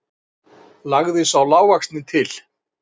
lagði sá lágvaxnari til.